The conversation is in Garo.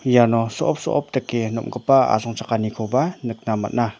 iano so·op so·op dake nom·gipa asongchakanikoba nikna man·a.